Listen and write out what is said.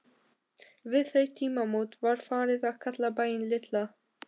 Við þau tímamót var farið að kalla bæinn Litla